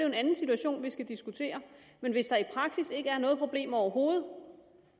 en anden situation vi skal diskutere men hvis der i praksis ikke er noget problem overhovedet